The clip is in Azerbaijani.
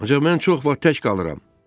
Ancaq mən çox vaxt tək qalıram.